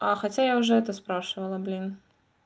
а хотя я уже это спрашивала блин